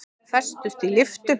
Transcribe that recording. Festust í lyftu